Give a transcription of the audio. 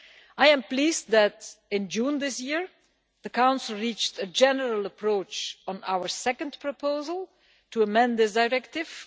I am pleased that in June this year the Council reached a general approach on our second proposal to amend the Directive.